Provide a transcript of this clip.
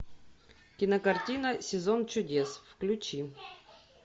кинокартина сезон чудес включи